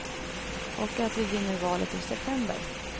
Och att vi vinner valet i september.